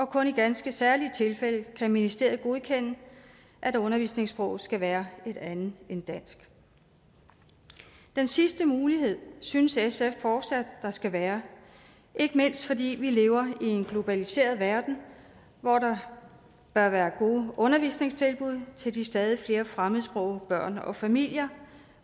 kun i ganske særlige tilfælde kan ministeriet godkende at undervisningssproget skal være et andet end dansk den sidste mulighed synes sf fortsat der skal være ikke mindst fordi vi lever i en globaliseret verden hvor der bør være gode undervisningstilbud til de stadig flere fremmedsprogede børn og familier